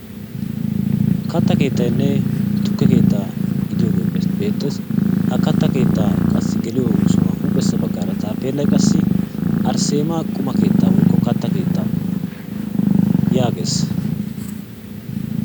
Katta keettynne tukke keettaa gidiyogee beettees. Ha katta keettaa geliyo sohaa huuphessa baggaara taappeellay qassi arsseemaa katta keettaa/quma keettaa yaagees.